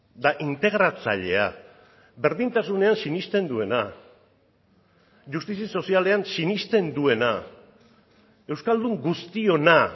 eta integratzailea berdintasunean sinesten duena justizia sozialean sinesten duena euskaldun guztiona